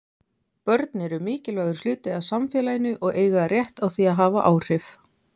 Börn eru mikilvægur hluti af samfélaginu og eiga rétt á því að hafa áhrif.